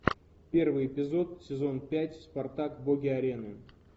первый эпизод сезон пять спартак боги арены